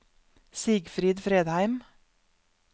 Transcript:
Sigfrid Fredheim